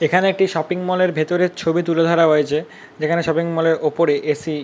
এখানে একটি shopping mall এর ভেতরের ছবি তুলে ধরা হয়েছে। যেখানে শপিং মল - এর ওপরে এ.সি. --